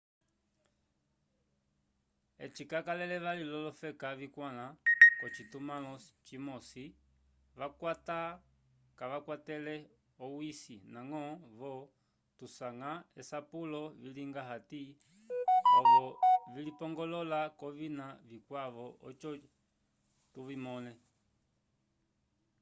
eci cakalele vali l’olofeka vikwãla k’ocitumãlo cimosi : cakwata kacakwatele owisi ndañgo-vo tusanga esapulo vilinga hati ovo vilipongolola k’ovina vikwavo oco tuvimõle